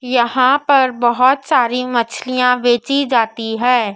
यहाँ पर बहुत सारी मछलियाँ बेची जाती है।